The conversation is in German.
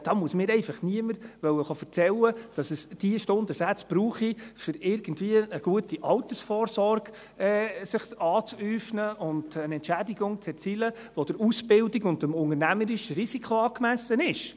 Da muss mir einfach niemand erzählen wollen, dass es diese Stundensätze brauche, um für sich irgendwie eine gute Altersvorsorge zu äufnen und eine Entschädigung zu erzielen, welche der Ausbildung und dem unternehmerischen Risiko angemessen ist.